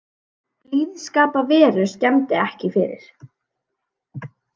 Blíðskaparveður skemmdi ekki fyrir